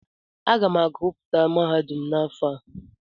Aga m agụpụta mahadum n'afọ a.